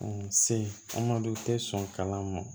se an ma du tɛ sɔn kalan ma